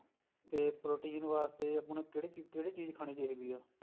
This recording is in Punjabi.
ਤੇ protein ਵਾਸਤੇ ਹੁਣ ਕਿਹੜੀ ਚੀਜ਼ ਕਿਹੜੀ ਚੀਜ਼ ਖਾਣੀ ਚਾਹੀਦੀ ਹੈ